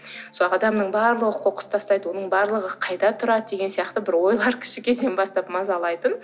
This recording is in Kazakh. сол адамның барлығы қоқыс тастайды оның барлығы қайда тұрады деген сияқты бір ойлар кіші кезден бастап мазалайтын